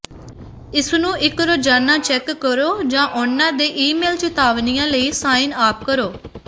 ਇਸਨੂੰ ਇੱਕ ਰੋਜ਼ਾਨਾ ਚੈੱਕ ਕਰੋ ਜਾਂ ਉਹਨਾਂ ਦੇ ਈਮੇਲ ਚਿਤਾਵਨੀਆਂ ਲਈ ਸਾਈਨ ਅਪ ਕਰੋ